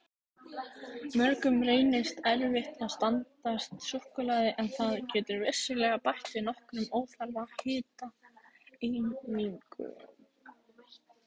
Mörgum reynist erfitt að standast súkkulaði en það getur vissulega bætt við nokkrum óþarfa hitaeiningum.